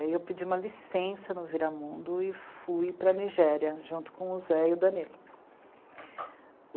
Aí eu pedi uma licença no Viramundo e fui para a Nigéria, junto com o Zé e o Danilo.